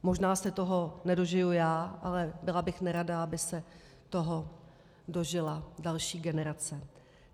Možná se toho nedožiju já, ale byla bych nerada, aby se toho dožila další generace.